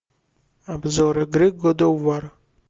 обзор игры год оф вар